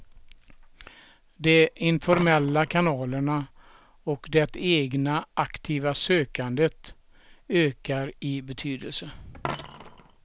De informella kanalerna och det egna aktiva sökandet ökar i betydelse.